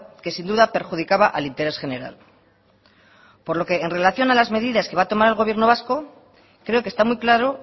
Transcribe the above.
que sin duda perjudicaba al interés general por lo que en relación a las medidas que va a tomar el gobierno vasco creo que está muy claro